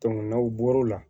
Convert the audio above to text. n'aw bɔr'o la